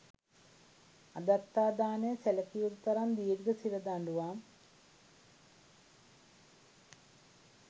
අදත්තාදානය සැලකිය යුතු තරම් දීර්ඝ සිර දඬුවම්